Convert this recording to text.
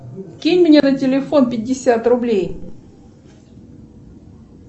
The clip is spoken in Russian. кинь мне на телефон пятьдесят рублей